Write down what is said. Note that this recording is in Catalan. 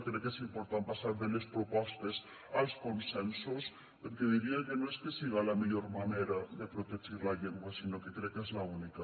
crec que és important passar de les propostes als consensos perquè diria que no és que siga la millor manera de protegir la llengua sinó que crec que és l’única